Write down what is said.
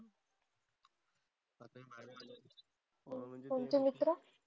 तुमचे मित्र.